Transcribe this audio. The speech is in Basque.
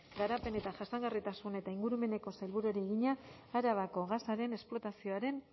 garapen jasangarritasun eta ingurumeneko sailburuari egina arabako gasaren esplorazioaren